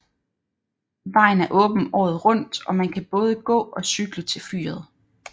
Vejen er åben året rundt og man kan både gå og cykle til fyret